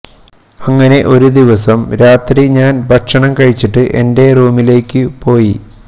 അങ്ങനെ ഒരു ദിവസം രാത്രി ഞാൻ ഭക്ഷണം കഴിച്ചിട്ട് എന്റെ റൂമിലേക്കു പോയി